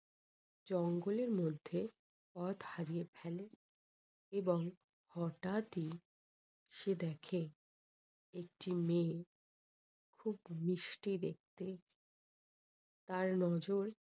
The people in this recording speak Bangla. জঙ্গল এর মধ্যে পথ হারিয়ে ফেলে এবং হঠাৎই সে দেখে একটি মেয়ে খুব মিষ্টি দেখতে তার নজর